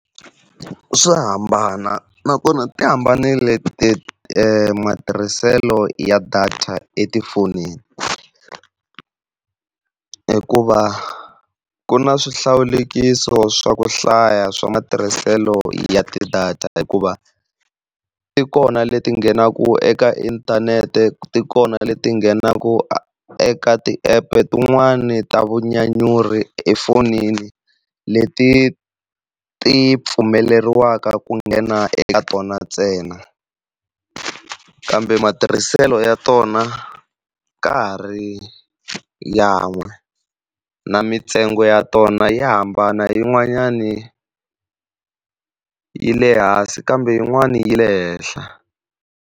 Swa hambana nakona ti hambanile matirhiselo ya data etifonini. Hikuva ku na swihlawulekiso swa ku hlaya swa matirhiselo ya ti-data, hikuva tikona leti nghenaku eka inthanete tikona leti nghenaku eka ti-app tin'wani ta vunyanyuri efonini leti ti pfumeleriwaka ku nghena eka tona ntsena. Kambe matirhiselo ya tona ka ha ri yan'we na mintsengo ya tona ya hambana yin'wanyani yi le hansi kambe yin'wani yi le henhla.